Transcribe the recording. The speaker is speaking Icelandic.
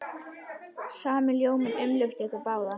Sami ljóminn umlukti ykkur báðar.